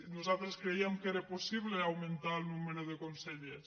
nosaltres crèiem que era possible augmentar el nom·bre de consellers